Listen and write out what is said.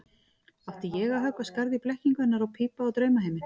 Átti ég að höggva skarð í blekkingu hennar og pípa á draumaheiminn?